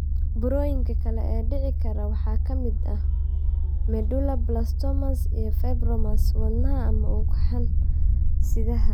Burooyinka kale ee dhici kara waxaa ka mid ah medulloblastomas, iyo fibromas wadnaha ama ugxan-sidaha.